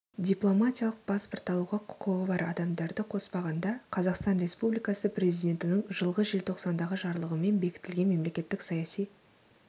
дипломатиялық паспорт алуға құқығы бар адамдарды қоспағанда қазақстан республикасы президентінің жылғы желтоқсандағы жарлығымен бекітілген мемлекеттік саяси